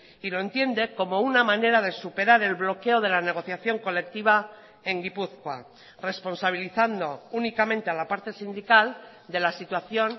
y lo entiende como una manera de superar el bloqueo de la negociación colectiva en gipuzkoa responsabilizando únicamente a la parte sindical de la situación